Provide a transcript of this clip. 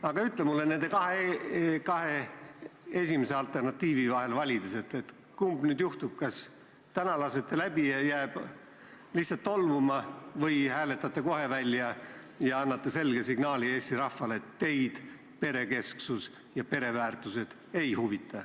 Aga ütle mulle nende kahe esimese alternatiivi vahel valides, kumb nüüd juhtub, kas te täna lasete ta läbi ja ta jääb lihtsalt tolmuma või hääletate kohe välja ja annate selge signaali Eesti rahvale, et teid perekesksus ja pereväärtused ei huvita.